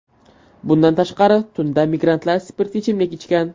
Bundan tashqari, tunda migrantlar spirtli ichimlik ichgan.